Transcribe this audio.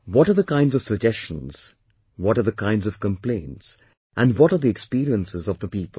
What are the kinds of suggestions, what are the kinds of complaints and what are the experiences of the people